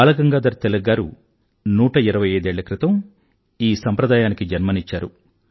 బాలగంగాధర తిలక్ గారు 125 ఏళ్ళ క్రితం ఈ సంప్రదాయానికి జన్మనిచ్చారు